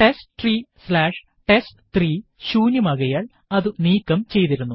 testtreeടെസ്റ്റ്3 ശൂന്യമാകയാൽ അതു നീക്കം ചെയ്തിരുന്നു